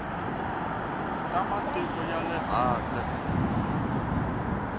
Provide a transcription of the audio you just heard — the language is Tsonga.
ta matiko ya le handle